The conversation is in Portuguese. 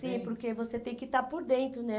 Sim, porque você tem que estar por dentro, né?